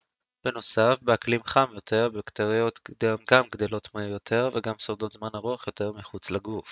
בנוסף באקלים חם יותר בקטריות גם גדלות מהר יותר וגם שורדות זמן ארוך יותר מחוץ לגוף